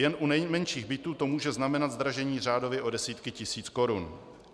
Jen u nejmenších bytů to může znamenat zdražení řádově o desítky tisíc korun.